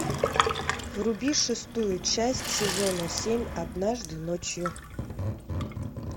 вруби шестую часть сезона семь однажды ночью